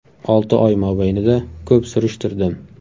Olti oy mobaynida ko‘p surishtirdim.